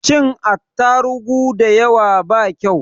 Cin atarugu dayawa ba kau